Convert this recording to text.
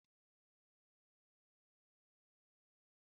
Ahụrụ m uri n'anya